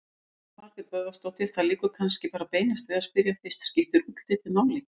Elín Margrét Böðvarsdóttir: Það liggur kannski bara beinast við að spyrja fyrst: Skiptir útlitið máli?